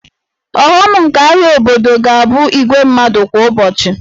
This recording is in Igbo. Ọghọm nke ahịa obodo ga-abụ igwe mmadụ kwa ụbọchị